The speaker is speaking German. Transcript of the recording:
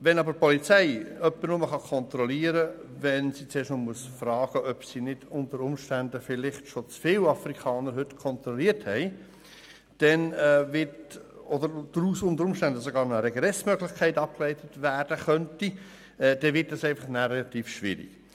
Wenn aber die Polizei jemanden nur kontrollieren kann, nachdem sie zuvor gefragt hat, ob sie heute vielleicht nicht schon zu viele Afrikaner kontrolliert hat, und wenn daraus vielleicht sogar noch eine Regressmöglichkeit abgeleitet werden könnte, wird es relativ schwierig.